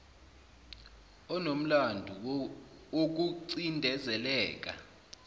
onomlando woku cindezeleka